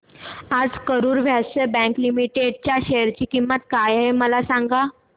आज Karur Vysya bank limited च्या share ची किंमत काय आहे मला सांगा